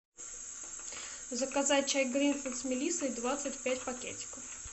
заказать чай гринфилд с мелиссой двадцать пять пакетиков